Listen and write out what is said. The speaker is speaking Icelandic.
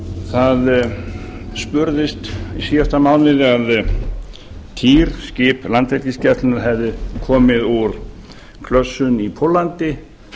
það spurðist í síðasta mánuði að týr skip landhelgisgæslunnar hefði komið úr klössun í póllandi